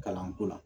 Kalanko la